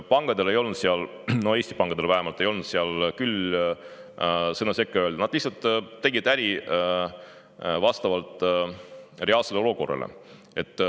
Pankadel ei olnud seal, Eesti pankadel vähemalt, küll sõna sekka öelda, nad lihtsalt tegid äri vastavalt reaalsele olukorrale.